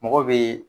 Mɔgɔ bɛ